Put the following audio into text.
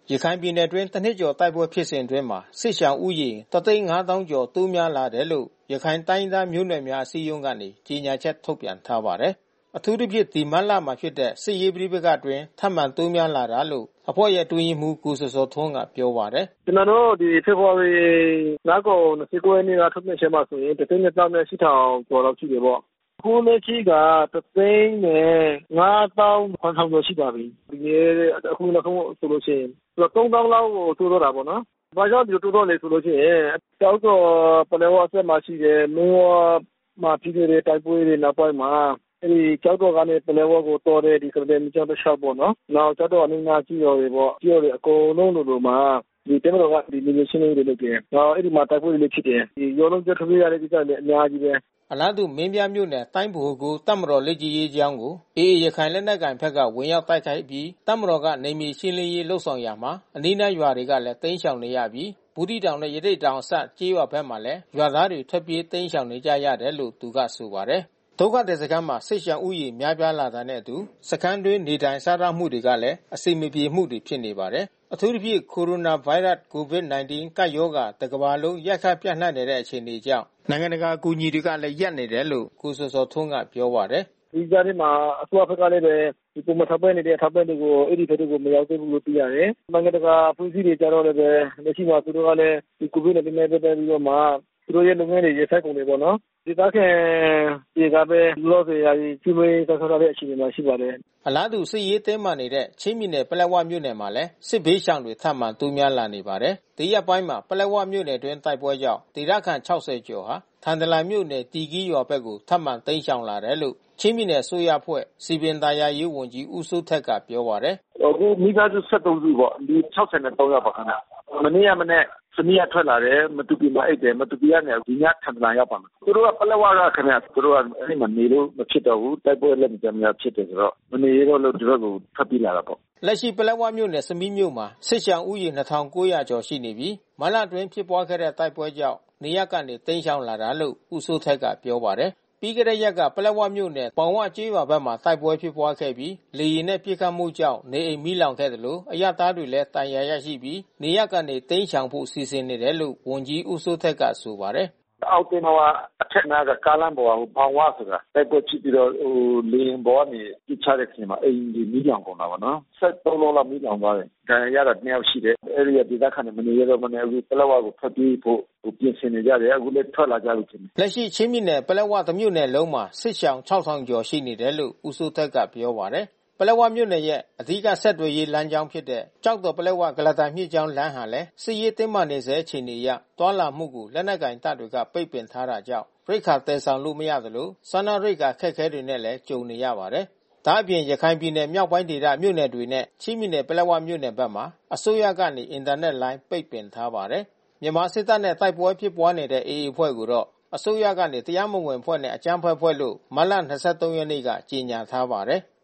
ရခိုင်ပြည်နယ်အတွင်း တနှစ်ကျော်တိုက်ပွဲဖြစ်စဉ်အတွင်း ဒေသခံစစ်ရှောင်ဦးရေ ၁၅၀,၀၀၀ ကျော် တိုးများလာတယ်လို့ ရခိုင်တိုင်းရင်းသားမျိုးနွယ်များ အစည်းအရုံးကနေ ကြေညာချက်ထုတ်ပြန်ထားပါတယ်။ အထူးသဖြင့် ဒီမတ်လထဲမှာ ဖြစ်တဲ့ စစ်ရေးပဋိပက္ခအတွင်း ထပ်မံတိုးများလာတာလို့ အဖွဲ့အတွင်းရေးမှူး ကိုဇော်ဇော်ထွန်းက ပြောပါတယ်။ “ကျနော်တို့ ဖေဖေါ်ဝါရီလကုန်ရက် ၂၉ ရက် နေ့က ထုတ်ပြန်ချက်ထဲမှာဆိုင်ရင် ၁၂၈,၀၀၀ ကျော်လောက်ရှိတာပေါ့။ အခုလက်ရှိက ၁၅၇,၀၀၀ ကျော်ရှိလာပြီ။ အခုနောက်ဆုံး အခြေအနေဆိုရင်။ သူက ၃၀,၀၀၀ လောက်ကို တိုးသွားတာပေါ့နော်။ ဘာကြောင့်ဒီလို တိုးသွားသလဲဆိုရင် ကျောက်တော်၊ ပလက်ဝဘက်မှာ ရှိတဲ့ မီးဝမှာ ဖြစ်ခဲ့တဲ့ တိုက်ပွဲတွေနောက်ပိုင်းမှာ ကျောက်တော်ကနေ ပလက်ဝကိုသွားတဲ့ ကုလားတန်မြစ်ကြောင်း တလျှောက်ပေါ့နော်။ နောက်ကျောက်တော်အနီးနား ကျေးရွာတွေပေါ့။ ကျေးရွာတွေအကုန်လုံးလိုလိုမှာ တပ်မတော်က နယ်မြေ ရှင်းလင်းရေးတွေ လုပ်တယ်။ နောက်အဲဒီမှာတိုက်ပွဲ တွေလည်းဖြစ်တယ်။ ရွာလုံးကျွတ်ထွက်ပြေးရတဲ့ ကိစ္စတွေ အများကြီးပဲ။ အလားတူ မင်းပြားမြို့နယ်တိုင်း ဗဟို ၉ တပ်မတော် လေ့ကျင့်ရေးကျောင်းကို AA ရခိုင်လက်နက်ကိုင်ဘက်က ဝင်ရောက် တိုက်ခိုက်အပြီး တပ်မတော်က နယ်မြေရှင်းလင်းရေးလုပ်ဆောင်ရာမှာ အနီးနားရွာတွေကလည်း တိမ်းရှောင်နေရပြီး ဘူးသီးတောင်နဲ့ ရသေ့တောင် အစပ်ကျေးရွာဘက်မှာလည်း ရွာသားတွေ ထွက်ပြေးတိမ်းရှောင်နေကြရတယ်လို့ သူကဆိုပါတယ်။ ဒုက္ခသည်စခန်းမှာ စစ်ရှောင်ဦးရေများပြားလာတာနဲ့အတူ စခန်းအတွင်းနေထိုင်စားသောက်မှုတွေကလည်း အဆင်မပြေမှုတွေ ဖြစ်နေပါတယ်။ အထူးသဖြင့် Coronavirus COVID-19 ကပ်ရောဂါ တကမ္ဘာလုံး ရိုက်ခတ်ပျံ့နှံ့နေတဲ့အခြေအနေကြောင့် နိင်ငံတကာ အကူအညီတွေလည်း ရပ်နေတယ်လို့ ကိုဇော်ဇော်ထွန်းက ပြောပါတယ်။ “ဒီကြားထဲမှာ အစိုးရဘက်ကလည်း ပုံမှန်ထောက်ပံ့နေတဲ့ အထောက်ပံ့တွေကို အဲဒီဘက်တွေကို မရောက်သေးဘူးသိရတယ်။ နိုင်ငံတကာအဖွဲ့အစည်းတွေကျလည်းပဲ လက်ရှိမှာသူတို့ကလည်း COVID-19 နဲ့ ပတ်သက်ပြီးတော့မှ သူတို့ရဲ့လုပ်ငန်းတွေ ရပ်ဆိုင်းနေ တယ်ပေါ့နော်။ ဒေသခံတွေကပဲ လောလောဆယ် ကျွေးမွေးစောင့်ရှောက်ထားတဲ့ အခြေအနေရှိပါတယ်။ အလားတူ စစ်ရေးတင်းမာနေတဲ့ ချင်းပြည်နယ်၊ ပလက်ဝမြို့နယ်မှာလည်း စစ်ဘေးရှောင်တွေထပ်မံ တိုးများလာနေပါ တယ်။ ဒီရက်ပိုင်းမှာ ပလက်ဝမြို့နယ်အတွင်း တိုက်ပွဲကြောင့် ဒေသခံ ၆၀ ကျော်ဟာ ထန်တလန်မြို့နယ် သီကီးရ်ရွာဘက်ကို ထပ်မံတိမ်းရှောင်လာတယ်လို့ ချင်းပြည်နယ်အစိုးရအဖွဲ့ စည်ပင်သာယာရေးဝန်ကြီးဦးစိုးထက်က ပြောပါတယ်။ “အခုမိသားစု ၁၃ စုပေါ့။ လူ ၆၃ ယောက်ပါခင်ဗျ။ မနေ့က မနက် ဆမီးက ထွက်လာတယ်။ မတူပီမှာ အိပ်တယ်။ မတူပီကနေ ဒီညထန်တလန် ရောက်ပါမယ်။ သူတို့ ပလက်ဝကခင်ဗျ။ သူတို့က အဲဒီမှာနေလို့မဖြစ်တော့ဘူး။ တိုက်ပွဲကလည်း မကြာမကြာဖြစ်တယ်ဆိုတော့။ မနေရဲတော့လို့ ဒီဘက်ကို ထွက်ပြေးလာတယ်ပေါ့။” လက်ရှိ ပလက်ဝမြို့နယ်ဆမီးမြို့မှာ စစ်ရှောင်ဦးရေ ၂,၉၀၀ ခန့်ရှိနေပြီး မတ်လအတွင်း ဖြစ်ပွားခဲ့တဲ့ တိုက်ပွဲကြောင့် နေရပ်ကနေ တိမ်းရှောင်လာကြတယ်လို့ ဦးစိုးထက်ကပြောပါတယ်။ ပြီးခဲ့တဲ့ရက်က ပလက်ဝမြို့နယ် ဘောင်ဝကျေးရွာဘက်မှာ တိုက်ပွဲဖြစ်ပွါးခဲ့ပြီး လေယာဉ်နဲ့ပစ်ခတ်မှုကြောင့် နေအိမ် မီးလောင်ခဲ့သလို အရပ်သားတွေလည်း ဒဏ်ရာရရှိပြီး နေရပ်ကနေတိမ်းရှောင်ဖို့ စီစဉ်နေတယ်လို့ ဝန်ကြီးဦးစိုးထက်က ဆိုပါတယ်။ “အောက်သဲမဝအထက်နားက ကားလမ်းပေါ်က ဘောင်ဝဆိုတာ။ တိုက်ပွဲဖြစ်ပြီးတော့လေယာဉ်ပေါ်ကနေ ပစ်ချတဲ့အထဲမှာ အိမ်တွေလည်း မီးလောင်ကုန်တာပေါ့နော်။ ၁၃ လုံးလောက်မီးလောင်သွားတယ်။ ဒဏ်ရာရတာ ၂ ယောက်ရှိတယ်။ အဲဒီဒေသခံတွေ မနေရဲတော့ဘဲနဲ့ အခု ပလက်ဝကို ထွက်ပြေးဖို့ ပြင်ဆင်နေကြတယ်။ အခုလည်းထွက်လာနေ ကြပြီ။” လက်ရှိ ချင်းပြည်နယ်၊ ပလက်၀ တမြို့နယ်လုံးမှာ စစ်ရှောင် ၆,၀၀၀ ကျော်ရှိနေတယ်လို့ ဦးစိုးထက်က ပြောပါတယ်။ ပလက်ဝမြို့နယ်ရဲ့ အဓိက ဆက်သွယ်ရေးလမ်းကြောင်းဖြစ်တဲ့ ကျောက်တော်၊ ပလက်ဝ၊ ကုလားတန်မြစ်ကြောင်း လမ်းဟာလည်း စစ်ရေးတင်းမာနေဆဲ အခြေအနေအရ သွားလာမှုကို လက်နက်ကိုင်တပ်တွေက ပိတ်ပင်ထားတာကြောင့် ရိက္ခာ သယ်ဆောင်လို့ မရသလို စားနပ်ရိက္ခာအခက်ခဲနဲ့လည်း ကြုံနေရပါတယ်။ ဒါ့အပြင် ရခိုင်ပြည်နယ် မြောက်ပိုင်းဒေသမြို့နယ်တွေနဲ့ ချင်းပြည်နယ်၊ ပလက်ဝမြို့နယ်မှာ အစိုးရကနေ အင်တာနက်လိုင်း ပိတ်ပင်ထားပါတယ်။ မြန်မာစစ်တပ်နဲ့ တိုက်ပွဲဖြစ်ပွားနေတဲ့ AA အဖွဲ့ကိုတော့ အစိုးရကနေ တရားမဝင်အဖွဲ့နဲ့ အကြမ်းဖက်အဖွဲ့လို့ မတ်လ ၂၃ ရက်နေ့က ကြေညာထားပါတယ်။